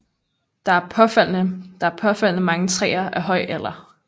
Der er påfaldende mange træer af høj alder